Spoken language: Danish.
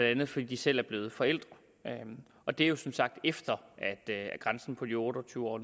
andet fordi de selv er blevet forældre og det er jo som sagt efter at grænsen på de otte og tyve år